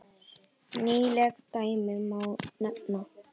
Nýleg dæmi má nefna.